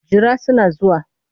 Jira suna zuwa.